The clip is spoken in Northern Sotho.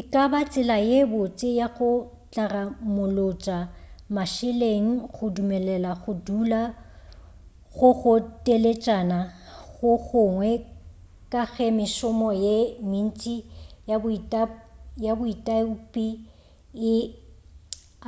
e ka ba tsela ye botse ya go tlaramolotša mašeleng go dumelela go dula go go teletšana go gongwe ka ge mešomo ye mentši ya boitaopi e